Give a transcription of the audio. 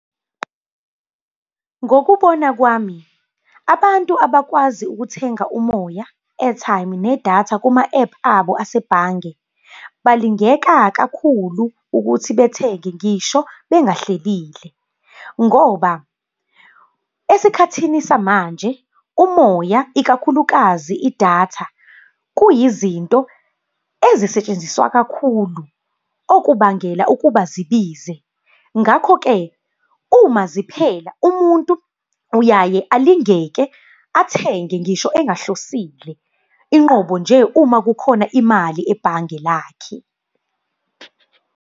Ngokubona kwami, abantu abakwazi ukuthenga umoya, airtime nedatha kuma-App abo asebhange, balingeka kakhulu ukuthi bethenge ngisho bengahlelile. Ngoba esikhathini samanje umoya ikakhulukazi idatha, kuyizinto ezisetshenziswa kakhulu okubangela ukuba zibize. Ngakho-ke uma ziphela umuntu uyaye alingeke, athenge ngisho engahlosile. Inqubo nje uma kukhona imali ebhange lakhe.